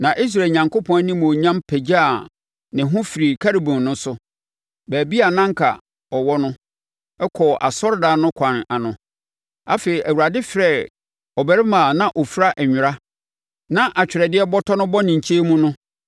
Na Israel Onyankopɔn animuonyam pagyaa ne ho firi Kerubim no so, baabi a na anka ɛwɔ no, kɔɔ asɔredan no ɛkwan ano. Afei Awurade frɛɛ ɔbarima a na ɔfira nwera na atwerɛdeɛ bɔtɔ bɔ ne nkyɛn mu no